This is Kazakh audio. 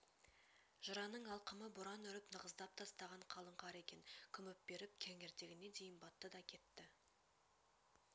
жыраның алқымы боран үріп нығыздап тастаған қалың қар екен күміп беріп кеңірдегіне дейін батты да кетті